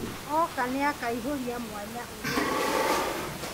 Oka nĩakaihũria mwanya ũrĩa ũrĩ ho